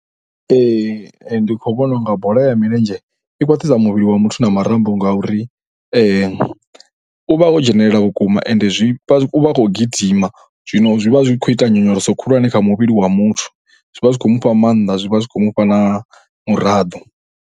Ndi khou vhona u nga bola milenzhe i khwaṱhisa muvhili wa muthu na marambo ngauri u vha o dzhenelela vhukuma ende zwi vha zwi, u vha a khou gidima. Zwino zwi vha zwi khou ita nyonyoloso khulwane kha muvhili wa muthu. Zwi vha zwi khou mu fha maanḓa, zwi vha zwi khou mu fha na muraḓo.